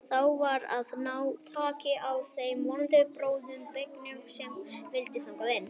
Þá var að ná taki á þeim vonda bróður beygnum sem vildi þangað inn.